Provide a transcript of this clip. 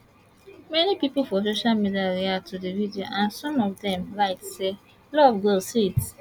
many pipo for social media react to di video and some of dem write say love go sweet